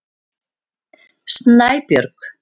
Snæbjörg